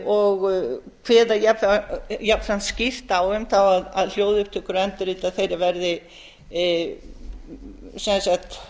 og kveða jafnframt skýrt á um að hljóðupptökur og endurrit af þeim verði sem sagt